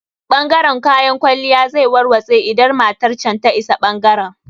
Ɓangaren kayan kwalliya zai warwatse idan matan can ta isa ɓangaren